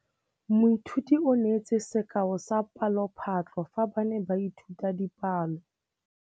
Moithuti o neetse sekaô sa palophatlo fa ba ne ba ithuta dipalo.